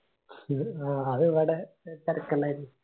ഹാ അത് ഇവിടെ െതരക്കിണ്ടായിരുന്നു